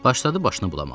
Başladı başını bulamağa.